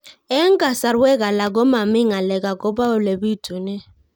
Eng' kasarwek alak ko mami ng'alek akopo ole pitunee